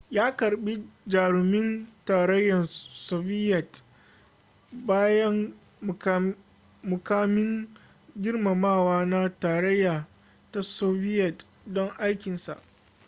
ya karbi jarumin tarayyar soviyet babban mukamin girmamawa na tarayyar ta soviyet don aikinsa